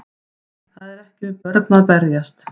Það er ekki við börn að berjast